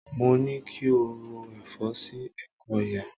Mo ní ki o ro ẹ̀fọ́ sí ẹ̀kọ́ yẹn.